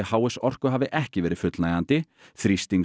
h s Orku hafi ekki verið fullnægjandi